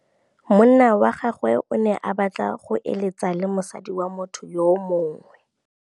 Monna wa gagwe o ne a batla go êlêtsa le mosadi wa motho yo mongwe.